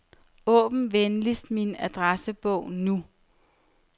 Åbn venligst min adressebog nu.